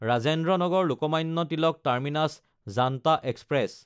Rajendra নাগাৰ–লোকমান্য Tilak terminus Janata express